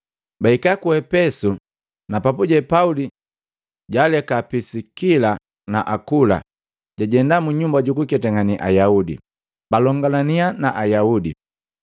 Bahika ku Epesu na papuje Pauli jaleka Pisikila na Akula, jajenda munyumba jukuketangane Ayaudi, balongalaniya na Ayaudi.